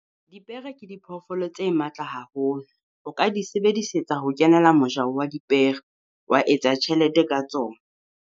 Dipere ke diphoofolo tse matla haholo, o ka di sebedisetsa ho kenela mojaho wa dipere. Wa etsa tjhelete ka tsona.